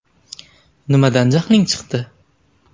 Nimadan jahling chiqdi?